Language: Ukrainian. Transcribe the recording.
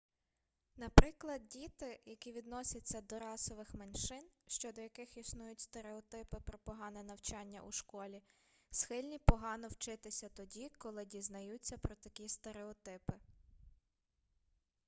наприклад діти які відносяться до расових меншин щодо яких існують стереотипи про погане навчання у школі схильні погано вчитися тоді коли дізнаються про такі стереотипи